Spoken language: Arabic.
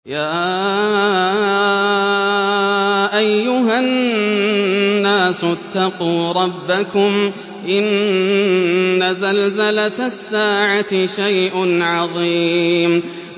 يَا أَيُّهَا النَّاسُ اتَّقُوا رَبَّكُمْ ۚ إِنَّ زَلْزَلَةَ السَّاعَةِ شَيْءٌ عَظِيمٌ